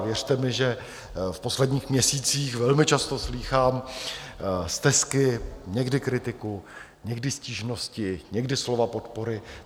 A věřte mi, že v posledních měsících velmi často slýchám stesky, někdy kritiku, někdy stížnosti, někdy slova podpory.